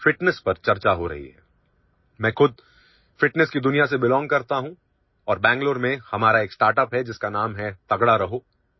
I myself belong to the world of fitness and we have a startup in Bengaluru named 'Tagda Raho'